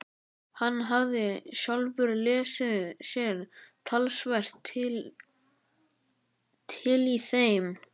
Hann hafði sjálfur lesið sér talsvert til í þeim.